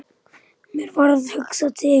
Mér varð hugsað til